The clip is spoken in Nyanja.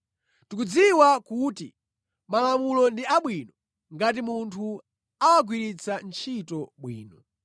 Tikudziwa kuti Malamulo ndi abwino ngati munthu awagwiritsa ntchito bwino.